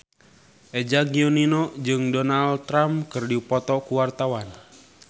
Eza Gionino jeung Donald Trump keur dipoto ku wartawan